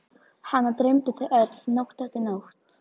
Hana dreymdi þau öll, nótt eftir nótt.